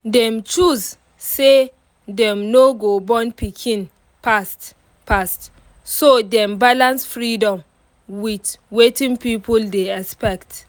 dem choose say dem no go born pikin fast fast so dem balance freedom with wetin people dey expect